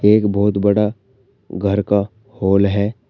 एक बहुत बड़ा घर का हॉल है।